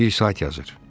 Bir sayt yazır.